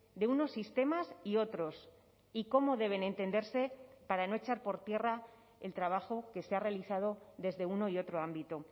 de unos sistemas y otros y cómo deben entenderse para no echar por tierra el trabajo que se ha realizado desde uno y otro ámbito